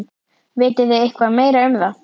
Vitið þið eitthvað meira um það?